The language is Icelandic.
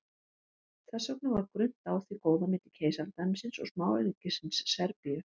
Þess vegna var grunnt á því góða milli keisaradæmisins og smáríkisins Serbíu.